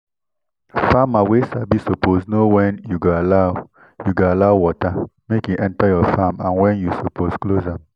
farmer wey sabi suppose know when you go allow you go allow water make e enter your farm and when you suppose close am